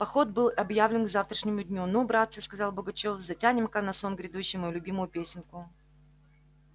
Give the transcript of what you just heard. поход был объявлен к завтрашнему дню ну братцы сказал бугачев затянем-ка на сон грядущий мою любимую песенку